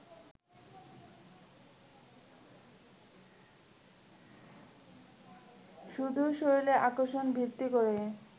শুধু শরীরের আকর্ষণ ভিত্তি করে